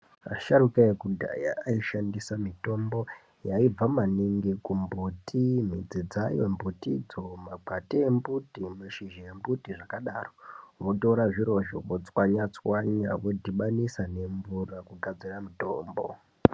Vasharukwa vekudhaya vaishandisa mitombo yaibva maningi mumagomboti, midzi dzayo mbutidzo, makwati embuti, mashizha embuti ayo. Votora zvirozvo votswanya-tswanya vodhibanisa nemvura kugadzira mutombo.